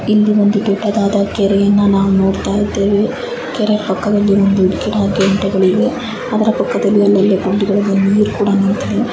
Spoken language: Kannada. ಇಲ್ಲಿ ಒಂದು ದೊಡ್ಡದಾದಂತ ಕೆರೆಯನ್ನು ನಾವ್ ನೋಡ್ತಾಯಿದ್ದೇವೆ. ಕೆರೆಯ ಪಕ್ಕಾದಲ್ಲಿ ಅಲ್ಲಲ್ಲಿ ಗುಂಡಿಗಳಲ್ಲಿ ನೀರ್ ಕೂಡ ನಿಂತಿದೆ.